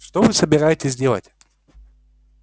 что вы собираетесь делать